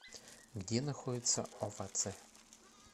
где находится овация